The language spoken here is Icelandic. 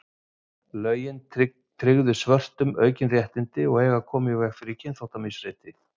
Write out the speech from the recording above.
Lögin tryggðu svörtum aukin réttindi og eiga að koma í veg fyrir kynþáttamisrétti.